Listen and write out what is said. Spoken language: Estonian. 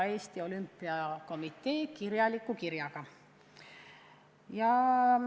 Eesti Olümpiakomitee oli esindatud kirjaga.